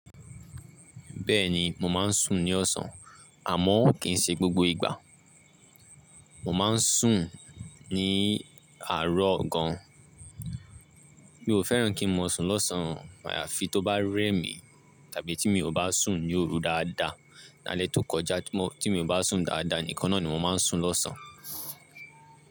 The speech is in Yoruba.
Bẹ́ẹ̀ni, mò máa ń sùn ní ọ̀sán, àmọ́ kì í ṣe gbogbo ìgbà. Mò máa ń sùn ní àárọ̀ gan. Mi ò fẹ́ràn kí n máa sùn lọ́sàn-án, àyàfi tó bá rẹ́ mi tàbí tí mi ò bá sùn ni òru dáadáa. Ní alẹ́ tó kọjá tí mo, tí mi ò bá sùn dáadáa nìkan náà ni mò máa ń sùn lọ́sán.